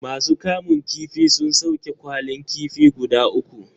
Ma su kamun kifin sun sauke kwalin kifi guda uku